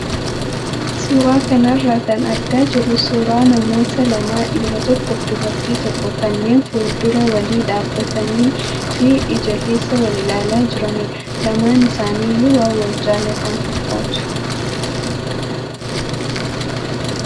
Suuraa kanarraa kan argaa jirru suuraa namoota lamaa dhiira tokkoo fi dubartii tokkoo kanneen fuuldura walii dhaabbatanii fi ija keessa wal ilaalaa jiranidha. Lamaan isaanii iyyuu waan wal jaallatan fakkaatu.